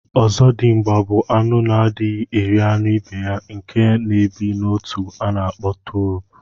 Ọzọdimgba bu anụ na adighi eri anụ ibeya nke na ebi na otu ana akpọ turup